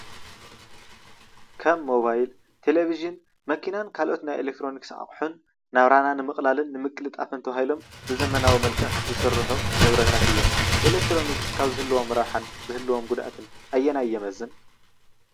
ከብ ሞባይል ቴሌቪዥን መኪናን ካልኦት ናይ ኤሌክትሮኒክስ ኣቑሑን ናብራና ንምቅላልን ንምቅልጣፈን ተባሂሎም ብዘመናዊ መልክዕ ዝስርሑ ንብረታት እዮም። ኤሌክትሮኒክስ ካብ ዝህልዎም ረብሓን ዝህልዎም ጉድኣትን ኣየናይ ይበዝሕ?